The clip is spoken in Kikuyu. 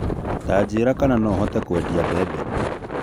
Tanjĩra kana no hote kwendĩa mbembe